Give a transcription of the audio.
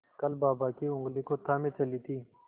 कल बाबा की ऊँगली को थामे चली थी